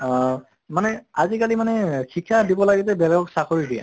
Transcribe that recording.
অহ মানে আজি কালি মানে শিক্ষা দিব লাগিলে বেলেগক চাকৰি দিয়ে